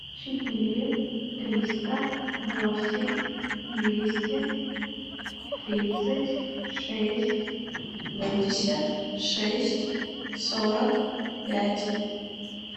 четыре триста восемь двести тридцать шесть семьдесят шесть сорок пять